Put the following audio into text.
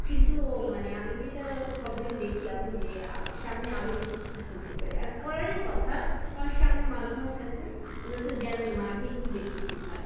কিন্তু আমি যেটা খবরে দেখলাম যে আহ সামনে আরো বেশি শীত পড়তে পারে আর পড়ারই কথা কারণ সামনে মাঘ মাস আছে আমরা জানি মাঘে একটু বেশি শীত হয়।